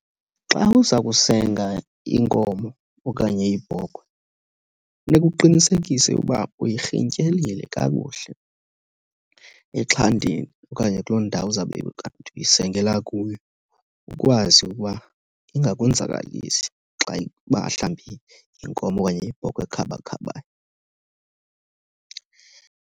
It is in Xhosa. Xa uza kusenga inkomo okanye ibhokhwe funeka uqinisekise uba uyirhintyelile kakuhle exhantini okanye kuloo ndawo uzawube kanti uyisengela kuyo. Ukwazi ukuba ingakwenzakalisi xa uba mhlambi yinkomo okanye yibhokhwe ekhabakhabayo.